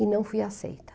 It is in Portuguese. e não fui aceita.